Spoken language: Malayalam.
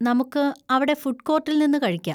നമുക്ക് അവിടെ ഫുഡ് കോർട്ടിൽ നിന്ന് കഴിക്കാ.